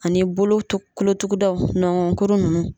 Ani bolotukolotugudaw, ɲɔgɔnkuru nunnu.